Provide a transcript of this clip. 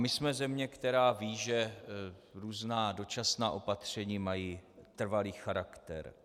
My jsme země, která ví, že různá dočasná opatření mají trvalý charakter.